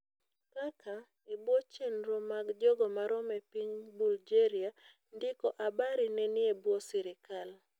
kaka, ebuo chenro mag jogomarom e piny Bulgaria, ndiko habari nenie buo serikal.